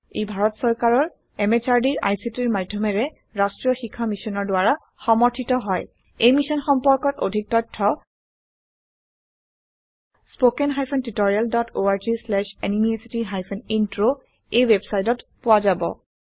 ই ভাৰত চৰকাৰৰ MHRDৰ ICTৰ মাধয়মেৰে ৰাস্ত্ৰীয় শিক্ষা মিছনৰ দ্ৱাৰা সমৰ্থিত হয় এই মিশ্যন সম্পৰ্কত অধিক তথ্য spoken hyphen tutorial dot org slash এনএমইআইচিত হাইফেন ইন্ট্ৰ ৱেবচাইটত পোৱা যাব